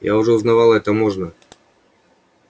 я уже узнавала это можно